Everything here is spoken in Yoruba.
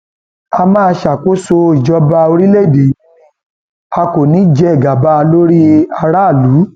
a máa ṣàkóso ìjọba ìjọba orílẹèdè yìí ni a kò ní í jẹ gàba lórí aráàlú